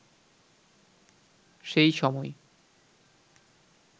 সেই সময়